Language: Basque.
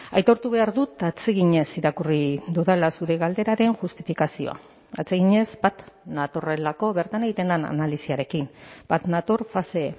aitortu behar dut atseginez irakurri dudala zure galderaren justifikazioa atseginez bat natorrelako bertan egiten den analisiarekin bat nator fase